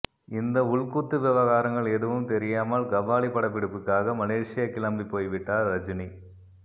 இந்த உள்குத்து விவகாரங்கள் எதுவும் தெரியாமல் கபாலி படப்பிடிப்புக்காக மலேஷியா கிளம்பிப்போய்விட்டார் ரஜினி